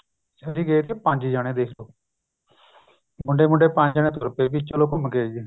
ਅੱਸੀ ਗਏ ਤੇ ਪੰਜ ਜਾਣੇ ਦੇਖਲੋ ਮੁੰਡੇ ਮੁੰਡੇ ਪੰਜ ਜਾਣੇ ਚਲੋ ਘੁੱਮ ਕੇ ਆਈਏ